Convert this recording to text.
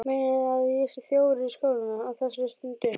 Meinarðu. að það sé þjófur í skólanum. á þessari stundu?